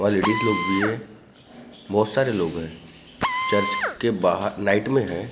वहां लेडिज लोग भी है बहुत सारे लोग हैं चर्च के बाहर लाइट में है।